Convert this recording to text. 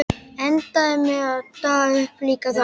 Endaði með að daga uppi líka þar.